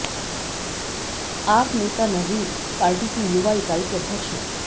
आप नेता नजीब पार्टी की युवा इकाई के अध्यक्ष हैं